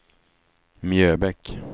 Mjöbäck